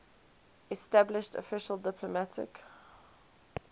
established official diplomatic